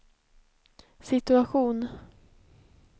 situation